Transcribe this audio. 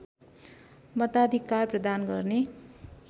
मताधिकार प्रदान गर्ने